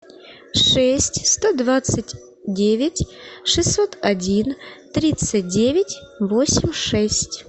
шесть сто двадцать девять шестьсот один тридцать девять восемь шесть